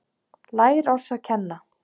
Lær oss að kenna